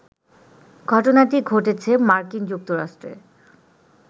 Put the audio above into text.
ঘটনাটি ঘটেছে মার্কিন যুক্তরাষ্ট্রে